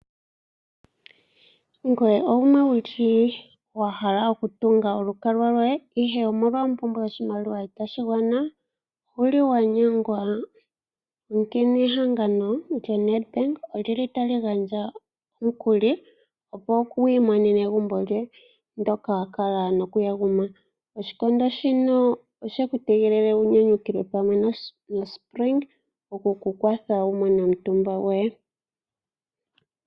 Ngoye owa hala okutunga olukalwa lwoye, ihe omolwa ompumbwe yoshimaliwa itashi gwana nowa nyengwa? Ehangano lyoNedbank otali gandja omukuli, opo wi imonene egumbo lyoye ndyoka wa kala nokuyaguma. Oshikondo shino oshe ku tegelela wu nyanukwe pamwe noSpring okukukwatha wu mone omutumba goye.